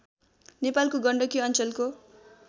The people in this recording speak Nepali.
नेपालको गण्डकी अञ्चलको